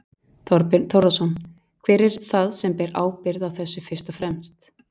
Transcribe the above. Þorbjörn Þórðarson: Hver er það sem ber ábyrgð á þessu fyrst og fremst?